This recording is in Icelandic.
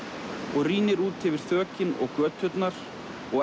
og rýnir út fyrir þökin og göturnar og